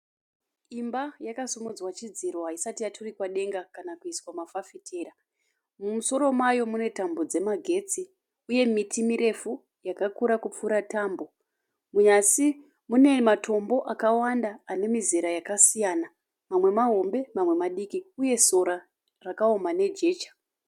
Imba yakisimudzwa chidziro , haisati yaturikwa denga kana kuiswa mafafitera. Mumusoro mayo mune tambo dzemagetsi, uye miti mirefu yakakura kupfura tambo. Munyasi mune matombo akawanda ane mizera yakasiyana. Mamwe mahombe mamwe madikii, uye sora rakaoma nejecha.